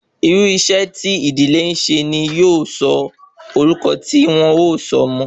Irú iṣẹ́ tí ìdílé ńse ni yóò sọ orúkọ ti won o sọ ọmọ